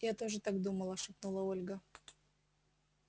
я тоже так думала шепнула ольга